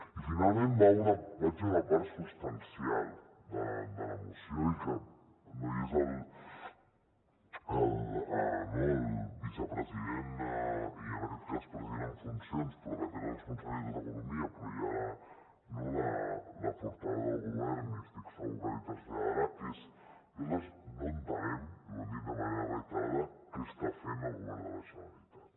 i finalment vaig a una part substancial de la moció i no hi és el vicepresident i en aquest cas president en funcions però que té la responsabilitat d’economia però hi ha la portaveu del govern i estic segur que l’hi traslladarà que és nosaltres no entenem i ho hem dit de manera reiterada què està fent el govern de la generalitat